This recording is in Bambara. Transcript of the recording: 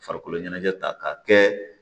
Farikolo ɲɛnajɛ ta k'a kɛ